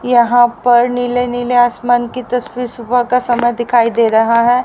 यहां पर नीले नीले आसमान की तस्वीर सुबह का समय दिखाई दे रहा है।